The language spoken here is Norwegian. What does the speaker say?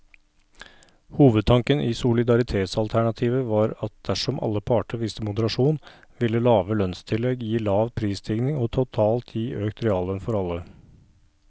Hovedtanken i solidaritetsalternativet var at dersom alle parter viste moderasjon, ville lave lønnstillegg gi lav prisstigning og totalt gi økt reallønn for alle.